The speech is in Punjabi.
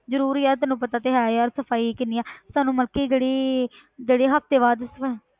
ਜ਼ਰੂਰ ਯਾਰ ਤੈਨੂੰ ਪਤਾ ਤੇ ਹੈ ਯਾਰ ਸਫ਼ਾਈ ਕਿੰਨੀ ਆਂ ਤੁਹਾਨੂੰ ਮਤਲਬ ਕਿ ਜਿਹੜੀ ਜਿਹੜੀ ਹਫ਼ਤੇ ਬਾਅਦ ਸਫ਼~